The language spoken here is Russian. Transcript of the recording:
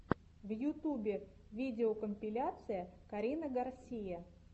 в ютубе видеокомпиляция карина гарсия